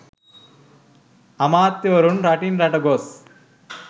අමාත්‍යවරුන් රටින් රට ගොස්